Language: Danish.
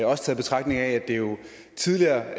også i betragtning af at det jo tidligere